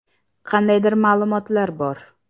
Qandaydir ma’lumotlar bor.